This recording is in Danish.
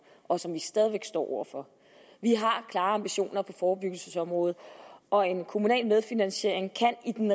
og som vi stadig væk står over for vi har klare ambitioner på forebyggelsesområdet og en kommunal medfinansiering kan i den